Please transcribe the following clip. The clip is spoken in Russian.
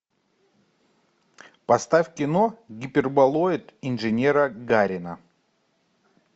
поставь кино гиперболоид инженера гарина